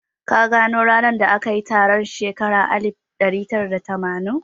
Ka gano ranar da aka yi taron a shekara ta alif ɗari tara da tamanin?